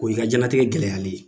O y'i ka diɲɛlatigɛ gɛlɛyalen ye.